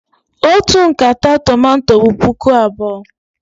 Otu nkata tomato bụ puku abụọ.